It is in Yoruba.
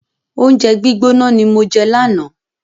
Oúnjẹ gbígbóná ni mo jẹ lánàá.